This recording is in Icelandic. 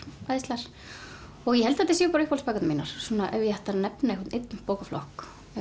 æðislegar og ég held að þetta séu mínar svona ef ég ætti að nefna einhvern einn bókaflokk